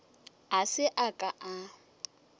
a se a ka a